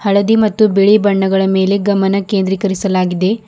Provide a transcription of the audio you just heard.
ಹಳದಿ ಮತ್ತು ಬಿಳಿ ಬಣ್ಣದ ಮೇಲೆ ಗಮನ ಕೆಂದ್ರೀಕರಿಸಲಾಗಿದೆ.